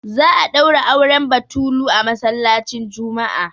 za a daura auren batulu a masallacin Juma'a